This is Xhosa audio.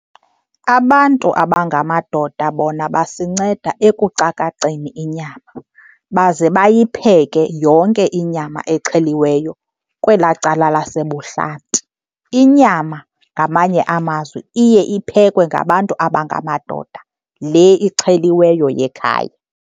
Abantu abangamadoda bona basinceda ekucakaceni inyama, baze bayipheke yonke inyama exheliweyo kwelaa cala lasebuhlanti. Inyama ngamanye amazwi iye iphekwe ngabantu abangamadoda, le ixheliweyo yekhaya.